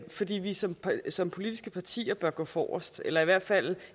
fordi vi som som politiske partier bør gå forrest eller i hvert fald